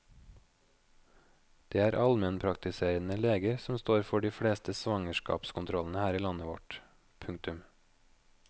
Det er almenpraktiserende leger som står for de fleste svangerskapskontrollene i landet vårt. punktum